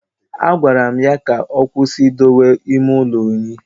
Agwara m ya ka ọkwụsị idowe ime ụlọ unyi